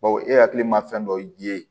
Bawo e hakili ma fɛn dɔ ye